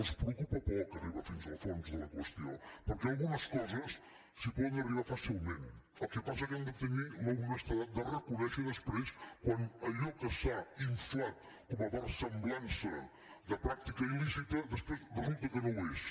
els preocupa poc arribar fins al fons de la qüestió perquè a algunes coses s’hi pot arribar fàcilment el que passa és que han de tenir l’honestedat de reconèixer després quan allò que s’ha inflat com a versemblança de pràctica il·lícita després resulta que no ho és